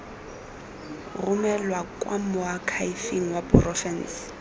romelwa kwa moakhaefeng wa porofense